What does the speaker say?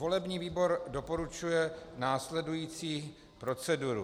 Volební výbor doporučuje následující proceduru.